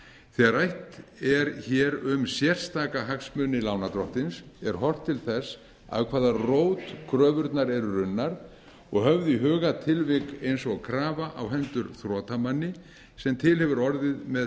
þegar rætt er hér um sérstaka hagsmuni lánardrottins er horft til þess af hvaða rót kröfurnar eru runnar og höfð í huga tilvik eins og krafa á hendur þrotamanni sem til hefur orðið með